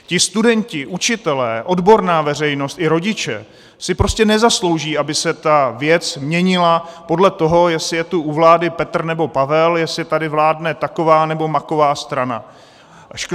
Ti studenti, učitelé, odborná veřejnost i rodiče si prostě nezaslouží, aby se ta věc měnila podle toho, jestli je tu u vlády Petr, nebo Pavel, jestli tady vládne taková, nebo maková strana.